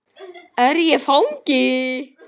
Er ég fangi?